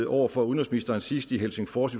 over for udenrigsministeren sidst i helsingfors